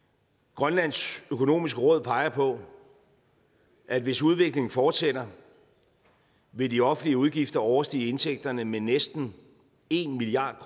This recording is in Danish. grønlands økonomiske råd peger på at hvis udviklingen fortsætter vil de offentlige udgifter overstige indtægterne med næsten en milliard